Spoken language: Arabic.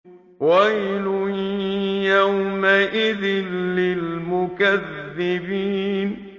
وَيْلٌ يَوْمَئِذٍ لِّلْمُكَذِّبِينَ